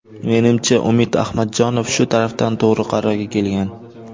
Menimcha, Umid Ahmadjonov shu tarafdan to‘g‘ri qarorga kelgan.